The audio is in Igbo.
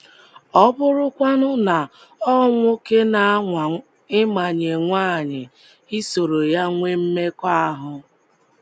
Ọ bụrụkwanu na ọ nwoke na-anwaa ịmanye nwanyị isoro ya nwee mmekọahụ?